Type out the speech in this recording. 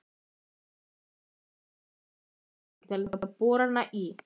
Gunnar Böðvarsson kynnti sér tæki til borana í